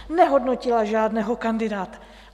Nehodnotila žádného kandidáta.